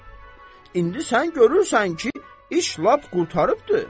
İndi sən görürsən ki, iş lap qurtarıbdır.